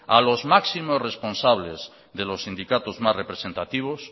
a los máximos responsables de los sindicatos más representativos